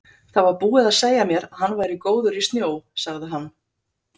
Það var búið að segja mér að hann væri góður í snjó, sagði hann.